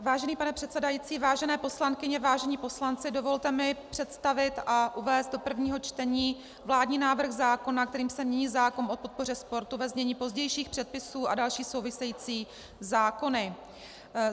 Vážený pane předsedající, vážené poslankyně, vážení poslanci, dovolte mi představit a uvést do prvního člení vládní návrh zákona, kterým se mění zákon o podpoře sportu, ve znění pozdějších předpisů, a další související zákony.